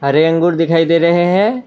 हरे अंगूर दिखाई दे रहे हैं।